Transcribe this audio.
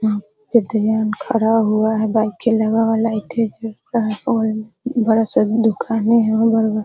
यहाँ पे दीवाल खड़ा हुआ है बड़ा सा दुकाने है बगल मे --